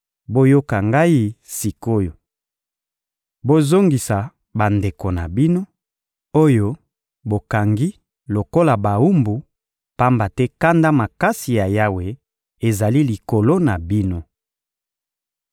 Boyoka ngai sik’oyo! Bozongisa bandeko na bino, oyo bokangi lokola bawumbu, pamba te kanda makasi ya Yawe ezali likolo na bino.»